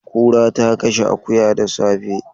Kura ta kashe akuya da safe.